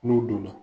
N'u donna